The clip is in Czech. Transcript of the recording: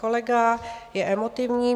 Kolega je emotivní.